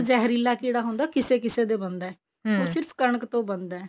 ਜਿਹਰੀਲਾ ਕੀੜਾ ਹੁੰਦਾ ਉਹ ਕਿਸੇ ਕਿਸੇ ਦੇ ਬਣਦਾ ਸਿਰਫ ਕਣਕ ਤੋਂ ਬਣਦਾ